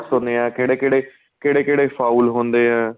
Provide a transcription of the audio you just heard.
ਹੁੰਨੇ ਏ ਕਿਹੜੇ ਕਿਹੜੇ ਕਿਹੜੇ ਕਿਹੜੇ foul ਹੁੰਦੇ ਏ